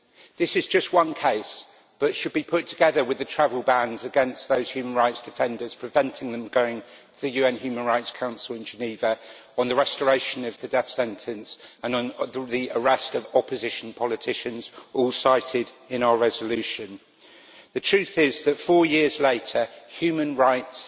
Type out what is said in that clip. This is just one case, but should be put together with the travel bans against those human rights defenders, preventing them going to the UN Human Rights Council in Geneva on the restoration of the death sentence and on the arrest of opposition politicians, all cited in our resolution. The truth is that four years later, human rights